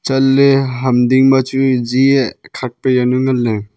chatley ham ding ma chu ji e khak pa yawnu nganley.